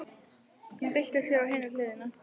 Hún byltir sér á hina hliðina.